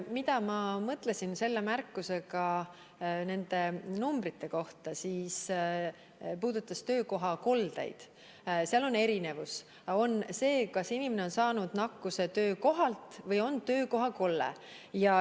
Mida ma mõtlesin selle märkusega nende numbrite kohta, mis puudutasid töökohakoldeid, on see, et seal on erinevus: kas inimene on saanud nakkuse töökohalt või on töökohakolle.